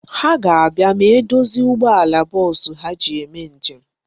Ha ga-abịa ma e dozie ụgbọala bọọsụ ha ji eme njem.